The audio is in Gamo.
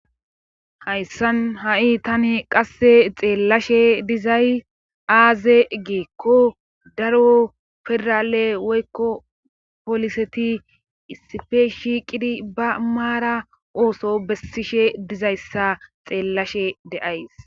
hayssan ha7i tani qasse xeellashe dizay aaze geekko daro federale woykko poliseti isife shiiqidi ba maara ooso bessishe dizayssa xeellashe deays